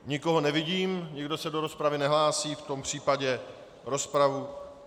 Nikoho nevidím, nikdo se do rozpravy nehlásí, v tom případě rozpravu...